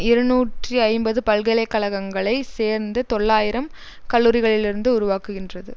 இருநூற்றி ஐம்பது பல்கலைக்கழகங்களை சேர்ந்து தொள்ளாயிரம் கல்லூரிகளிலிருந்து உருவாக்குகின்றது